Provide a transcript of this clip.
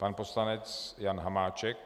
Pan poslanec Jan Hamáček.